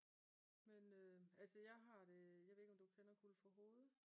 Men altså jeg har det jeg ved ikke om du kender Guldforhoved?